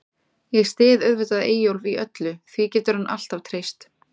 Ég styð auðvitað Eyjólf í öllu, því getur hann alltaf treyst.